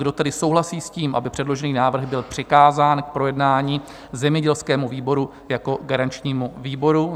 Kdo tedy souhlasí s tím, aby předložený návrh byl přikázán k projednání zemědělskému výboru jako garančnímu výboru?